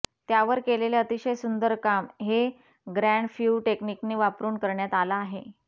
त्यावर केलेलं अतिशय सुंदर काम हे ग्रँड फ्यु टेक्निकने वापरून करण्यात आलं आहे